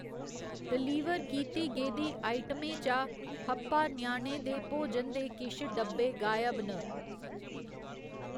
Deliver कीती गेदी आइटमें चा हप्पा ञयाणें दे भोजन दे किश डब्बे गायब न।